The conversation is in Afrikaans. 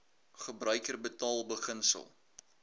gebruiker betaal beginsel